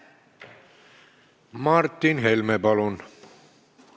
Martin Helme, palun!